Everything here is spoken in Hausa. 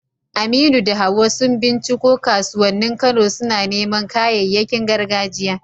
Aminu da Hawwa sun binciko kasuwannin Kano, suna neman kayayyakin gargajiya.